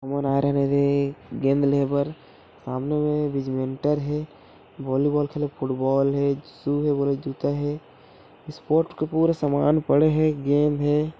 हमन आए रहेन येदे गेंद लेहे बर सामने म बैडमिंटन हे वॉलीबॉल खेलत-- फुटबॉल हे शू हे जूता हे स्पोर्ट के पूरा सामान पड़े हे।